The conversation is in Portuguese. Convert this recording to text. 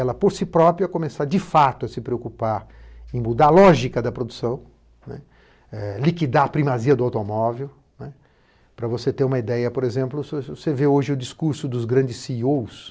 Ela, por si própria, começar de fato a se preocupar em mudar a lógica da produção, liquidar a primazia do automóvel, para você ter uma ideia, por exemplo, se você ver hoje o discurso dos grandes cêêô